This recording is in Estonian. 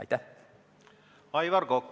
Aivar Kokk, palun!